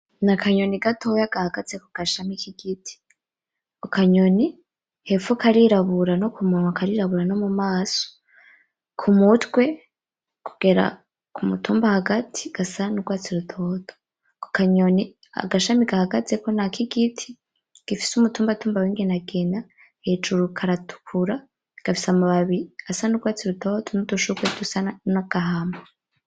Nakanyoni gatoya gahagaze kugashami kigiti, ako kanyoni hepfo karirabura nokumunwa karirabura nomumaso, kumutwe kugera kumutumba hagati gasa nurwatsi rutoto. Ako kanyoni agashami gahagazeko nakigiti gifise umutumbatumba wingenangena, hejuru karatukura, gafise amababi asa nurwatsi rutoto nudushurwe dusa nagahamwe.